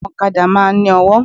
Àwọn òkadá máa n ní ọwó